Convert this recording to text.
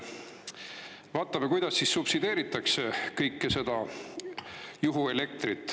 Vaatame, kuidas subsideeritakse kõike seda juhuelektrit.